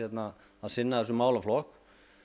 að sinna þessum málaflokk